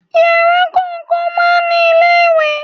Yàrá kọ̀ọ̀kan máa ń ní ilé ìwẹ̀.